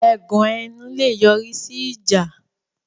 Ẹ̀gàn ẹnu lè yọ̀rí sí ìjà